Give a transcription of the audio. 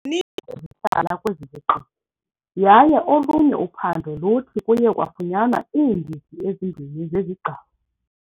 Ezihlala kwezi ziqithi yaye olunye uphando luthi kuye kwafunyanwa iindidi ezimbini zezigcawu.